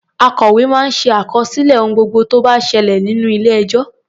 Akòwé máa ń ṣàkọsílẹ̀ ohun gbogbo tó bá ṣẹlẹ̀ ní ilé-ẹjọ́.